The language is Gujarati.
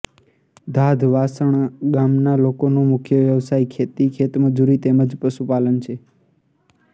ધાધ વાસણા ગામના લોકોનો મુખ્ય વ્યવસાય ખેતી ખેતમજૂરી તેમ જ પશુપાલન છે